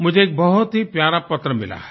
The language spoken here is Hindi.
मुझे एक बहुत ही प्यारा पत्र मिला है